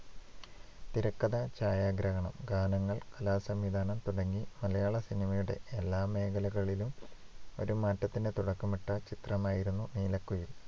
തിരക്കഥ, ഛായാഗ്രഹണം, ഗാനങ്ങൾ, കലാസംവിധാനം തുടങ്ങി മലയാളസിനിമയുടെ എല്ലാ മേഖലകളിലും ഒരു മാറ്റത്തിന് തുടക്കമിട്ട ചിത്രമായിരുന്നു നീലക്കുയിൽ.